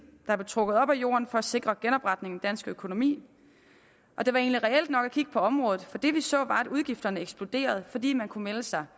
der blev trukket op af jorden for at sikre genopretningen af dansk økonomi og det var egentlig reelt nok at kigge på området for det vi så var at udgifterne eksploderede fordi man kunne melde sig